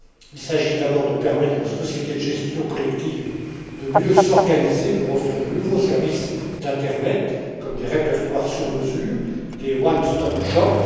Il s'agit d'abord de permettre aux sociétés de gestion collective de mieux s'organiser pour offrir de nouveaux services d'internet, comme des répertoires sur mesure, des one stop shops.